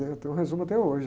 né? Eu tenho o resumo até hoje.